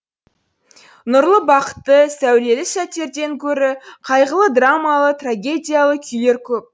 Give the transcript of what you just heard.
нұрлы бақытты сәулелі сәттерден көрі қайғылы драмалы трагедиялы күйлер көп